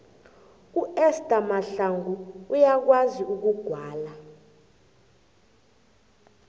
uester mahlangu uyakwazi ukugwala